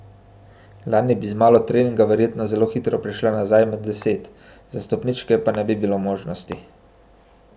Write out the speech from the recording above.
Lani bi z malo treninga verjetno zelo hitro prišla nazaj med deset, za stopničke pa ne bi bilo možnosti.